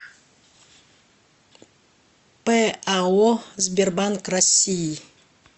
пао сбербанк россии